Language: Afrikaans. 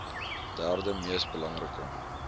derde mees belangrike